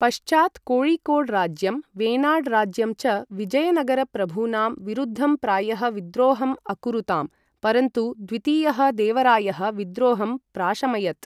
पश्चात् कोय़िकोड् राज्यं वेनाड् राज्यं च विजयनगर प्रभूनां विरुद्धं प्रायः विद्रोहम् अकुरुतां, परन्तु द्वितीयः देवरायः विद्रोहं प्राशमयत्।